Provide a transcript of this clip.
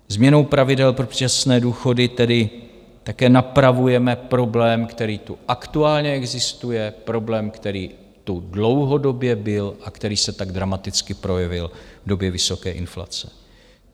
Změnou pravidel pro předčasné důchody tedy také napravujeme problém, který tu aktuálně existuje, problém, který tu dlouhodobě byl a který se tak dramaticky projevil v době vysoké inflace.